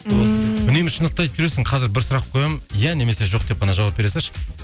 ммм үнемі шындықты айтып жүресің қазір бір сұрақ қоямын иә немесе жоқ деп қана жауап бере салшы